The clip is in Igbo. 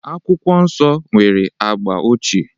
Akwụkwọ Nsọ nwere agba ochie.